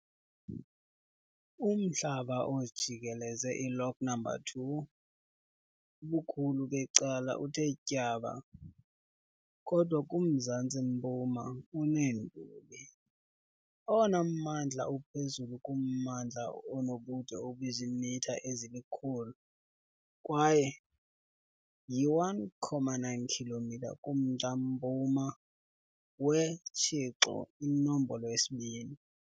Umhlaba ojikeleze i-Lock Number 2 ubukhulu becala uthe tyaba, kodwa kumzantsi-mpuma uneenduli. Owona mmandla uphezulu kummandla unobude obuziimitha ezili-100 kwaye yi-1.9 km kumntla-mpuma weTshixo iNombolo yesi-2.